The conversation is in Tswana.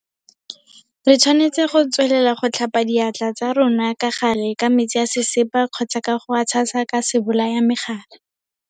Re tshwanetse go tswelela go tlhapa diatla tsa rona ka gale ka metsi a sesepa kgotsa ka go a tshasa ka sebolayamegare.